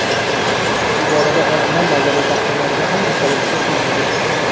Bu borada olimlar nazariy taxminlarga ham unchalik shoshilmaydi.